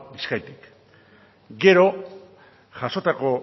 bizkaitik gero jasotako